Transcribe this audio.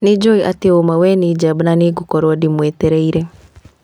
Nĩnjũĩ atĩ ũũma we nĩ njamba na nĩngũkorwo ndĩ mwetereire